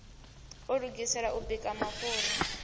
a lugisela u bika mafhuri